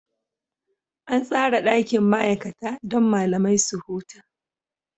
An tsara ɗakin ma'aikata don malamai su huta.